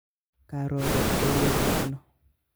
Karobe oyobu ano?